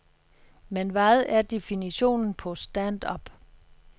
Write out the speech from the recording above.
Men hvad er definitionen på stand-up?